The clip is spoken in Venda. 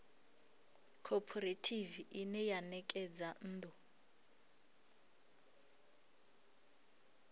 khophorethivi ine ya ṋekedza nnḓu